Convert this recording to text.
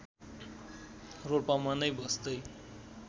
रोल्पामा नै बस्दै